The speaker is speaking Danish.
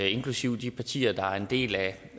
inklusive de partier der en del af